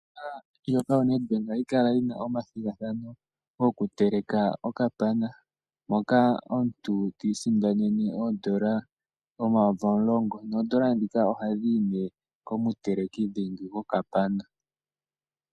Ombaanga yoNedbank ohayi kala yina omathigathano goku teleka okapana, moka omuntu ti isindanena oondola omayovi omulongo, noondala dhika ohadhi yi ne komuteleki dhingi gokapana.